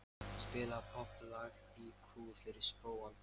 Spila popplag í kú fyrir spóann.